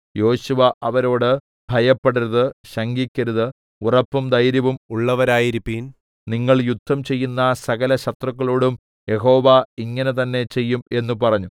യോശുവ അവരോട് ഭയപ്പെടരുത് ശങ്കിക്കരുത് ഉറപ്പും ധൈര്യവും ഉള്ളവരായിരിപ്പിൻ നിങ്ങൾ യുദ്ധം ചെയ്യുന്ന സകലശത്രുക്കളോടും യഹോവ ഇങ്ങനെതന്നെ ചെയ്യും എന്ന് പറഞ്ഞു